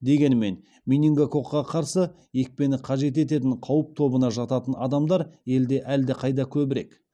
дегенмен менингококқа қарсы екпені қажет ететін қауіп тобына жататын адамдар елде әлдеқайда көбірек